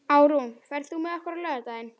Árún, ferð þú með okkur á laugardaginn?